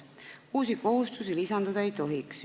Uusi kohustusi lisanduda ei tohiks.